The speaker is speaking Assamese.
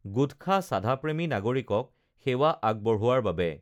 গুটখা চাঁদা প্ৰেমী নাগৰিকক সেৱা আগবঢ়োৱাৰ বাবে